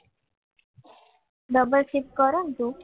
double shift કરવું ને તું